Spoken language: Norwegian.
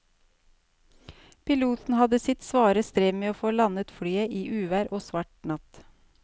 Piloten hadde sitt svare strev med å få landet flyet i uvær og svart natt.